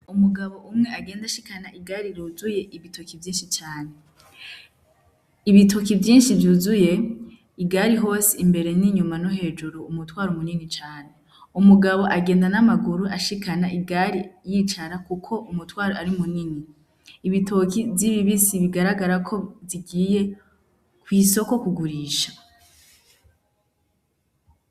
Umugabo umwe agenda ashikana igare ryuzuye ibitoki vyinshi cane. Ibitoki vyinshi vyuzuye igare hose imbere n'inyuma no hejuru umutwaro munini cane. Umugabo agenda n'amaguru ashikana igari yicara kuko umutwaro ari munini. Ibitoki z'ibibisi bigaragara ko zigiye kw'isoko kugurisha.